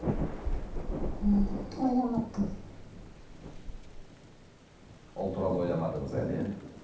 ммм ойламаппын ол туралы ойламадыңыз әлі иә